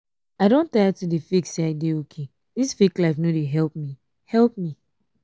i don tire to dey fake say i dey okay dis fake life no dey help me help me